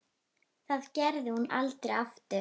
Það gerði hún aldrei aftur.